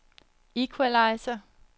equalizer